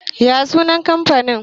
ya sunan kamfanin?